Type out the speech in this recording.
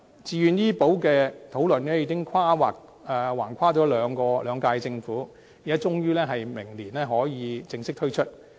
自願醫保計劃的討論已橫跨兩屆政府，終於在明年正式推出。